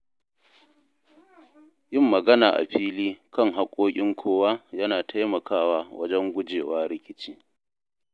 Yin magana a fili kan hakkokin kowa yana taimakawa wajen guje wa rikici.